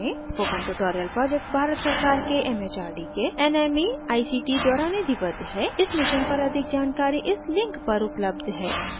spoken tutorial project Bharat सरकार के mhrd के nmeict द्वारा निधिबद्ध है इस mission पर अधिक जानकारी इस link पर उपलब्ध है